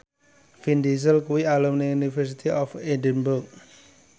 Vin Diesel kuwi alumni University of Edinburgh